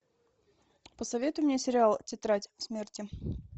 посоветуй мне сериал тетрадь смерти